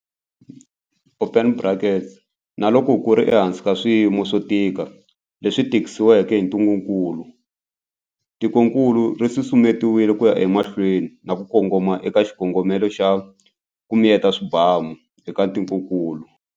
Open brackets, na loko ku ri ehansi ka swiyimo swo tika leswi tisiweke hi ntungukulu, tikokulu ri susumetile ku ya emahlweni na ku kongoma eka xikongomelo xa 'ku miyeta swibamu' eka tikokulu.